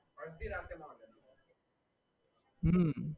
હમમ